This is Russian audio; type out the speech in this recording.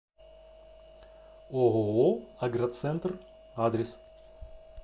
ооо агроцентр адрес